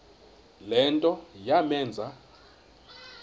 le nto yamenza